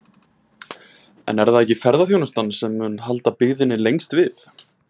En er það ekki ferðaþjónustan sem mun halda byggðinni lengst við?